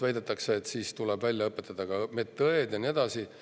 Väidetakse, et siis tuleb välja õpetada ka medõed ja nii edasi.